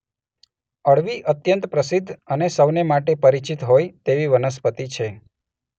અળવી અત્યંત પ્રસિદ્ધ અને સૌને માટે પરિચિત હોય તેવી વનસ્પતિ છે.